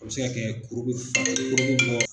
A bɛ se ka kɛ kuru bɛ kuru bɛ bɔ